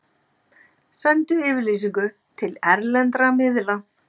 Sendu yfirlýsingu til erlendra miðla